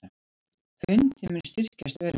Pundið mun styrkjast verulega